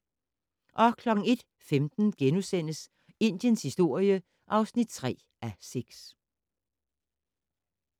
01:15: Indiens historie (3:6)*